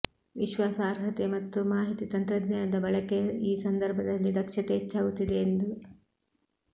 ವಿಶ್ವಾಸಾರ್ಹತೆ ಮತ್ತು ಮಾಹಿತಿ ತಂತ್ರಜ್ಞಾನದ ಬಳಕೆಯ ಈ ಸಂದರ್ಭದಲ್ಲಿ ದಕ್ಷತೆ ಹೆಚ್ಚಾಗುತ್ತಿದೆ ಎಂದು